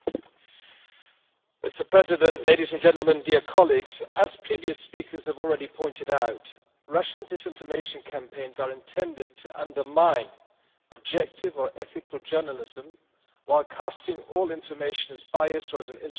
Mr President, ladies and gentlemen, dear colleagues, as previous speakers have already pointed out, Russian disinformation campaigns are intended to undermine objective or ethical journalism while casting all information as biased or as an instrument of political power.